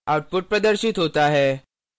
output प्रदर्शित होता है